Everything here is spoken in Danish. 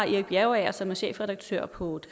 erik bjergager som er chefredaktør på